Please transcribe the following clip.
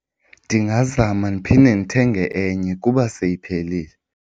Ndingazama ndiphinde ndithenge enye kuba seyiphelile.